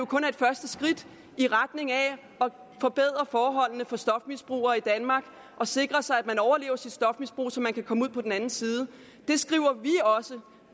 kun er et første skridt i retning af at forbedre forholdene for stofmisbrugere i danmark og sikre sig at man overlever sit stofmisbrug så man kan komme ud på den anden side det skriver vi